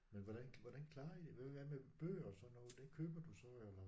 Men hvordan hvordan klarer I det hvad med bøger og sådan noget det køber du så eller